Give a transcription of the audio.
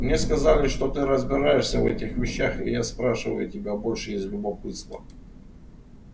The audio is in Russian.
мне сказали что ты разбираешься в этих вещах и я спрашиваю тебя больше из любопытства